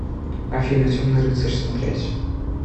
афина темный рыцарь смотреть